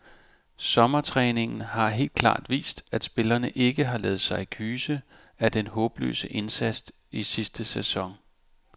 Sommertræningen har helt klart vist, at spillerne ikke har ladet sig kyse af den håbløse indsats i sidste sæson.